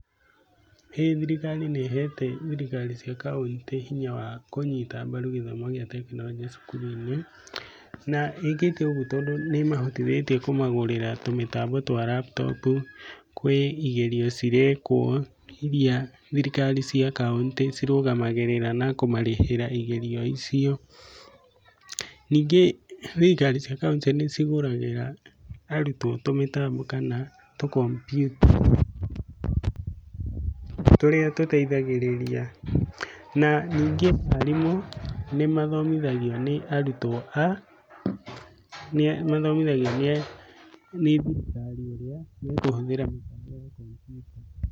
ĩĩ thirikari nĩ ĩhete thirikari cia kauntĩ hinya wa kũnyita mbaru githomo gĩa tekonoronjĩ cukuru-inĩ, na ĩkĩte ũguo tondu nĩ ĩmahotithĩtie kũmagurĩra tũmĩtambo twa laptop. Kwĩ igerio cirekwo iria thirikari cia kaũnti cirũgamagĩrĩra na kũmarĩhira igerio icio. Ningĩ thirikari cia kaũntĩ nĩ cigũragĩra arutwo tũmĩtambo kana tũkompiuta, tũrĩa tũteithagĩrĩria, na ningĩ arimũ nĩ mathomithagio nĩ arutwo a, nĩ mathomithagio nĩ thirikari ũrĩa mekũhũthĩra mĩtambo ya kompiuta.